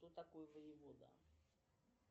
кто такой воевода